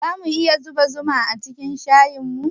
Zamu iya zuba zuma acikin shayinmu?